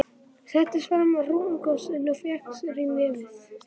Settist fram á rúmstokkinn og fékk sér í nefið.